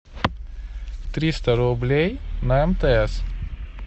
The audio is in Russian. триста рублей на мтс